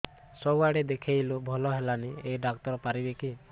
ସବୁଆଡେ ଦେଖେଇଲୁ ଭଲ ହେଲାନି ଏଇ ଡ଼ାକ୍ତର ପାରିବେ କି